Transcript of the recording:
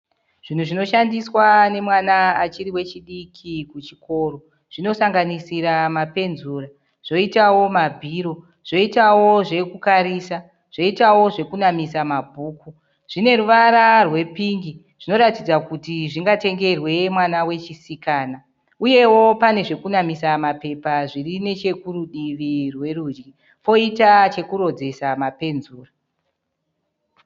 Zvinhu zvinoshandiswa nemwana achiri wechidiki kuchikoro. Zvinosanganisira mapenzura, zvoitawo mabhiro, zvoitawo zvekukarisa, zvoitawo zvekunamisa mabhuku. Zvine ruvara rwepingi. Zvinoratidza kuti zvingatengerwe mwana wechisikana. Uyewo pane zvekunamisa mapepa zvirinechekuruduvi rwokurudyi. Poitawo chokurodzesa mapenzura.